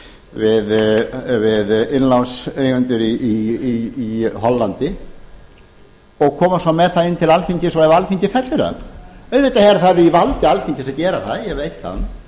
við innlánseigendur í hollandi og koma svo með það inn til alþingis og ef alþingi fellir það auðvitað er það í valdi alþingis að gera það ég veit það